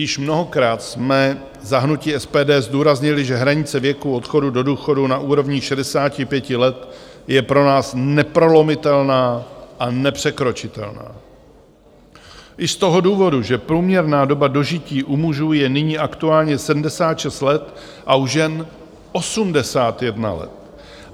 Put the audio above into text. Již mnohokrát jsme za hnutí SPD zdůraznili, že hranice věku odchodu do důchodu na úrovni 65 let je pro nás neprolomitelná a nepřekročitelná i z toho důvodu, že průměrná doba dožití u mužů je nyní aktuálně 76 let a u žen 81 let.